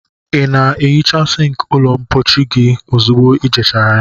Ị na-ehicha sink ụlọ mpochi gị ozugbo ejiri ya?